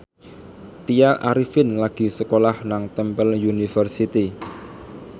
Tya Arifin lagi sekolah nang Temple University